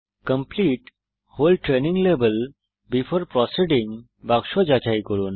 complete whole training level before proceeding বাক্স যাচাই করুন